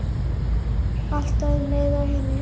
Alltaf um leið og hinir.